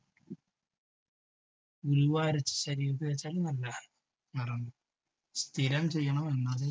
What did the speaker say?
ഉലുവ അരച്ച് ശരീരത്ത് തേച്ചാൽ നല്ലതാണ് സ്ഥിരം ചെയ്യണം എന്നാലേ